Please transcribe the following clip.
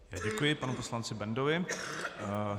Děkuji panu poslanci Bendovi.